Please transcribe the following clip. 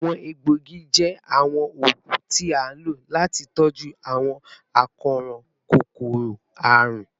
Awọn egboogi jẹ awọn oogun ti a lo lati tọju awọn akoran kokoro-arun